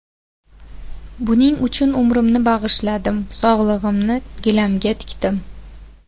Buning uchun umrimni bag‘ishladim, sog‘lig‘imni gilamga tikdim.